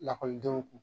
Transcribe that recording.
Lakɔlidenw